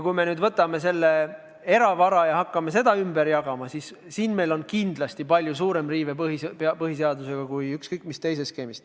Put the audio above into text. Kui me nüüd võtame selle eravara ja hakkame seda ümber jagama, siis tekib meil kindlasti palju suurem põhiseaduse riive kui ükskõik millise teise skeemi korral.